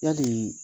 Yali